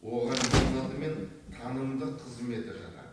оған ең алдымен танымдық қызметі жатады